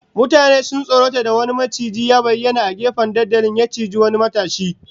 Mutane sun tsorata da wani maciji ya bayyana a gefen dandalin, ya ciji wani matashi